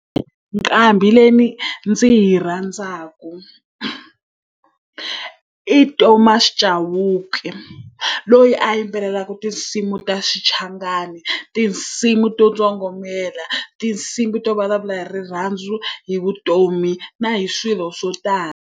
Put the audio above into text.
Nqambi leyi ndzi yi rhandzaka i Thomas Chauke. Loyi a yimbelelaka tinsimu ta xichangani, tinsimu to tsokombela, tinsimu to vulavula hi rirhandzu, hi vutomi na hi swilo swo tala.